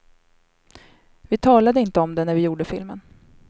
Vi talade inte om det när vi gjorde filmen.